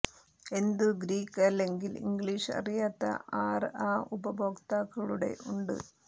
എന്തു ഗ്രീക്ക് അല്ലെങ്കിൽ ഇംഗ്ലീഷ് അറിയാത്ത ആർ ആ ഉപഭോക്താക്കളുടെ ഉണ്ട്